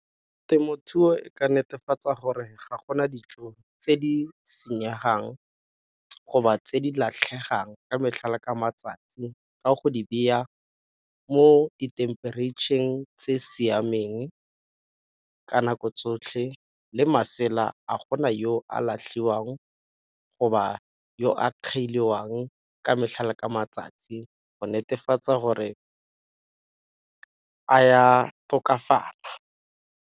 Temothuo e ka netefatsa gore ga gona dijo tse di senyegang tse di latlhegang ka metlhala ka matsatsi ka go di ba ya mo dithemperetšheng tse siameng ka nako tsotlhe le masela a gona yo a latlhiwang yo a ka metlhala ka matsatsi go netefatsa gore a ya tokafala.